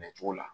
Bɛncogo la